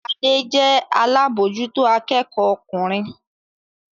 Adé jẹ́ alábòójútó akẹ́kọ̀ọ́ ọkùnrin